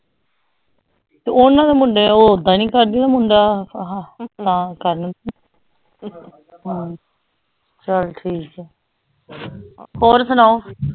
ਤੇ ਉਹਨਾਂ ਦੇ ਮੁੰਡੇ ਉਹ ਓਦਾਂ ਨੀ ਕਰਦੇ ਮੁੰਡਾ ਆਹ ਨਾ ਕਰਨ ਹਮ ਚੱਲ ਠੀਕ ਹੈ ਹੋਰ ਸੁਣਾਓ।